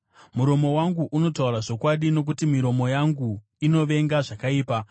Muromo wangu unotaura zvokwadi, nokuti miromo yangu inovenga zvakaipa.